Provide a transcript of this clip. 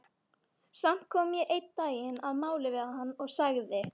Samt kom ég einn daginn að máli við hann og sagði